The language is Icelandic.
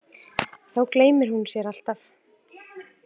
Þá gleymir hún sér alltaf.